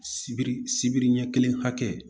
Sibiri sibiri ɲɛ kelen hakɛ